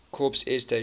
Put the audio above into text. corps air station